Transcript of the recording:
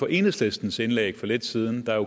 enhedslistens indlæg for lidt siden